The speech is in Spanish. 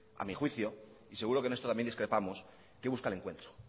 a mi juicio y seguro que en esto también discrepamos que busca el encuentro